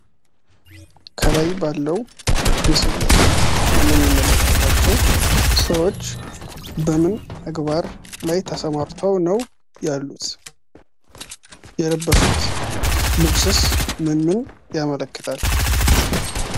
ከላይ ባለው ምስል ላይ የምንመለከታቸው ሰዎች በምን ተግባር ላይ ነው ተሰማርተው ያሉት? የለበሱት ልብስስ ምንን ያመለክታል?